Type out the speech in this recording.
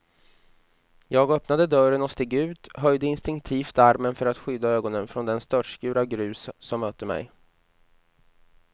Jag öppnade dörren och steg ut, höjde instinktivt armen för att skydda ögonen från den störtskur av grus som mötte mig.